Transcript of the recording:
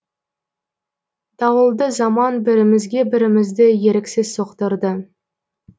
дауылды заман бірімізге бірімізді еріксіз соқтырды